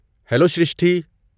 Hello Shrishti!